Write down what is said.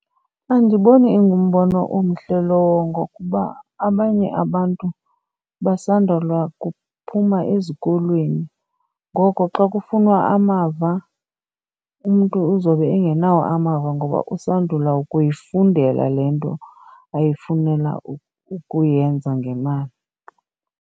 Andiboni ingumbono omhle lowo ngokuba abanye abantu basondula kuphuma ezikolweni. Ngoko xa kufunwa amava umntu uzobe engenawo amava ngoba usandula ukuyifundela le nto ayifunela ukuyenza ngemali.